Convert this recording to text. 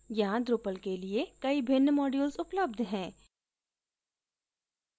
यहाँ drupal के लिए कई भिन्न modules उपलब्ध हैं